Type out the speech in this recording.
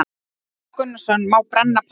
Hafþór Gunnarsson: Má brenna pappa?